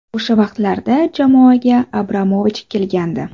O‘sha vaqtlarda jamoaga Abramovich kelgandi.